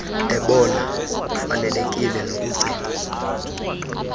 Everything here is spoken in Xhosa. ebona kufanelekile nokucingwa